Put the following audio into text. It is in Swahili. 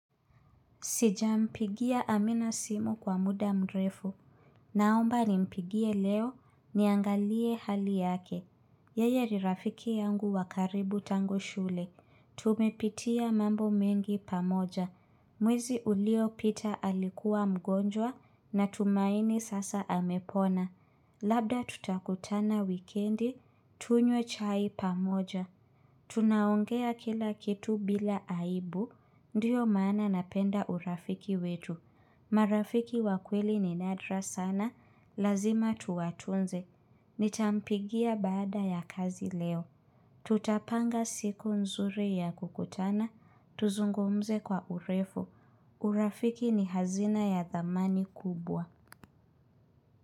Sijampigia amina simu kwa muda mrefu. Naomba nimpigie leo niangalie hali yake. Yeye ni rafiki yangu wakaribu tangu shule. Tumepitia mambo mengi pamoja. Mwezi uliopita alikuwa mgonjwa na tumaini sasa amepona. Labda tutakutana wikendi tunywe chai pamoja. Tunaongea kila kitu bila aibu, ndiyo mana napenda urafiki wetu. Marafiki wa kweli ni nadra sana, lazima tuwatunze. Nitampigia baada ya kazi leo. Tutapanga siku nzuri ya kukutana, tuzungumze kwa urefu. Urafiki ni hazina ya dhamani kubwa.